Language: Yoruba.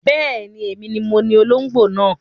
Bẹ́ẹ̀ni, èmi ni moní olóngbó náà